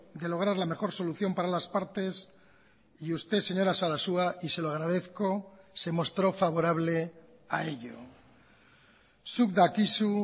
de lograr la mejor solución para las partes y usted señora sarasua y se lo agradezco se mostró favorable a ello zuk dakizu